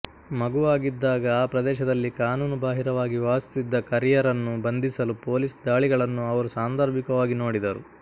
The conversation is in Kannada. ಮಗುವಾಗಿದ್ದಾಗ ಆ ಪ್ರದೇಶದಲ್ಲಿ ಕಾನೂನುಬಾಹಿರವಾಗಿ ವಾಸಿಸುತ್ತಿದ್ದ ಕರಿಯರನ್ನು ಬಂಧಿಸಲು ಪೊಲೀಸ್ ದಾಳಿಗಳನ್ನು ಅವರು ಸಾಂದರ್ಭಿಕವಾಗಿ ನೋಡಿದರು